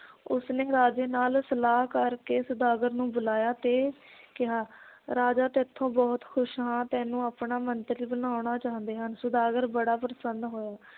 ਉਸਨੇ ਰਾਜੇ ਨਾਲ ਸਲਾਹ ਕਰਕੇ ਸੌਦਾਗਰ ਨੂੰ ਬੁਲਾਇਆ ਤੇ ਕਿਹਾ ਰਾਜਾ ਤੈਥੋਂ ਬਹੁਤ ਖੁਸ਼ ਹਾਂ ਤੈਨੂੰ ਆਪਣਾ ਮੰਤਰੀ ਬਣਾਉਣਾ ਚਾਹੁੰਦੇ ਹਨ ਸੌਦਾਗਰ ਬੜਾ ਪ੍ਰਸੰਨ ਹੋਇਆ